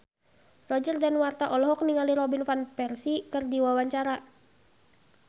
Roger Danuarta olohok ningali Robin Van Persie keur diwawancara